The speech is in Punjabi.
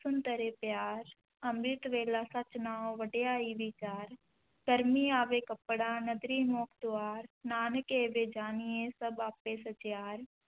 ਸੁਣਿ ਧਰੇ ਪਿਆਰੁ, ਅੰਮ੍ਰਿਤ ਵੇਲਾ ਸਚੁ ਨਾਉ ਵਡਿਆਈ ਵੀਚਾਰੁ, ਕਰਮੀ ਆਵੈ ਕਪੜਾ ਨਦਰੀ ਮੋਖੁ ਦੁਆਰੁ, ਨਾਨਕ ਏਵੈ ਜਾਣੀਐ ਸਭੁ ਆਪੇ ਸਚਿਆਰੁ,